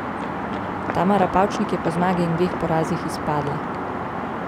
Tamara Pavčnik je po zmagi in dveh porazih izpadla.